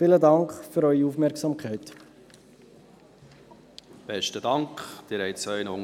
Sie haben es Ihren Unterlagen entnehmen können: